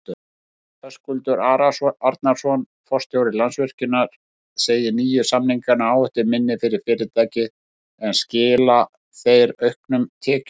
Hörður Arnarson, forstjóri Landsvirkjunar segir nýju samningana áhættuminni fyrir fyrirtækið en skila þeir auknum tekjum?